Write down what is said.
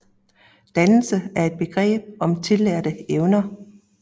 Dannelse er et begreb om tillærte evner